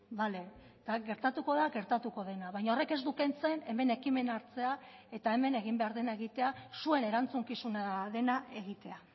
bale eta gertatuko da gertatuko dena baina horrek ez du kentzen hemen ekimena hartzea eta hemen egin behar dena egitea zuen erantzukizuna dena egitea